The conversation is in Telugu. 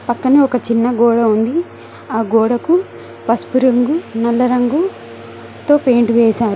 పక్కనే ఒక చిన్న గోడ ఉంది ఆ గోడకు పసుపు రంగు నల్ల రంగుతో పెయింట్ వేశారు.